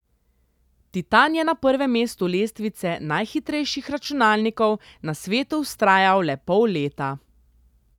Titan je na prvem mestu lestvice najhitrejših računalnikov na svetu vztrajal le pol leta.